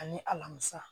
Ani alamisa